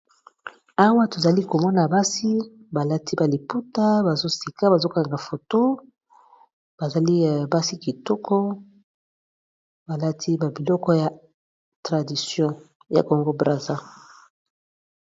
Awa tozali komona basi balati balipota bazosika bazokanga foto bazali basi kitoko balati babiloko ya tradition ya congo brater.